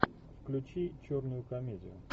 включи черную комедию